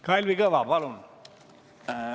Kalvi Kõva, palun!